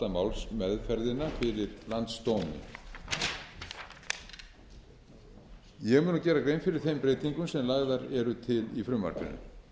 málsmeðferðina fyrir landsdómi ég mun nú gera grein fyrir þeim breytingum sem lagðar eru til í frumvarpinu